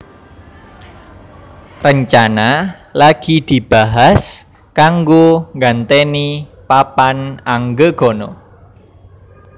Rencana lagi dibahas kanggo gantèni papan anggegana